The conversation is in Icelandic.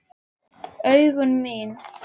Augu mín.